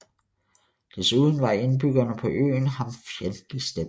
Desuden var indbyggerne på øen ham fjendtligt stemt